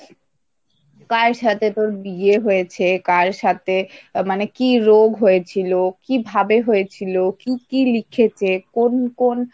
কার সাথে তোর বিয়ে হয়েছে? কার সাথে মানে কি রোগ হয়েছিল? কিভাবে হয়েছিল? কি কি লিখেছে? কোন কোন?